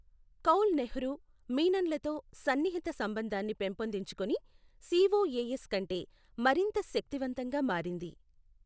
కౌల్ నెహ్రూ, మీనన్ లతో సన్నిహిత సంబంధాన్ని పెంపొందించుకుని సిఓఏఎస్ కంటే మరింత శక్తివంతంగా మారింది.